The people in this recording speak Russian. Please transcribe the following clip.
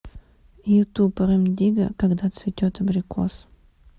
ютуб рем дигга когда цветет абрикос